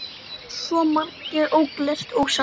Svo margt ógert og ósagt.